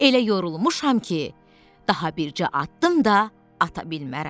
Elə yorulmuşam ki, daha bircə addım da ata bilmərəm.